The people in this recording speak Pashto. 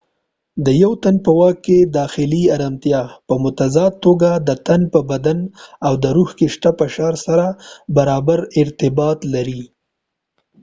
د یو تن په واک داخلي ارامتیا په متضاد توګه د تن په بدن او روح کې شته فشار سره برابر ارتباط لري